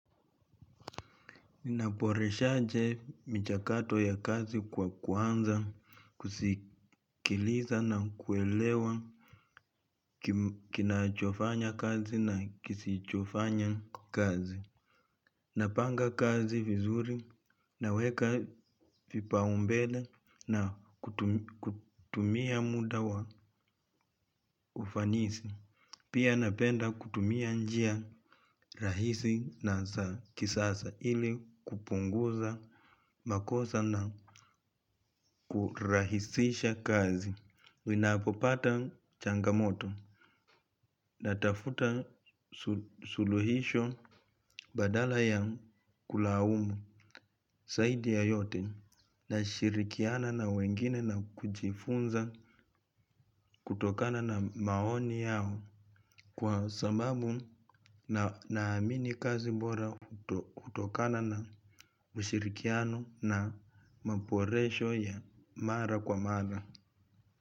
Naboreshaje michakato ya kazi kwa kwanza kusikiliza na kuelewa kinachofanya kazi na kisichofanya kazi. Napanga kazi vizuri naweka vipaombele na kutumia muda wa ufanisi. Pia napenda kutumia njia rahisi na kisasa ili kupunguza makosa na kurahisisha kazi ninapopata changamoto natafuta suluhisho badala ya kulaumu zaidi ya yote nashirikiana na wengine na kujifunza kutokana na maoni yao. Kwa sababu naamini kazi bora hutokana na ushirikiano na maboresho ya mara kwa mara.